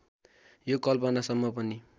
यो कल्पना सम्म पनि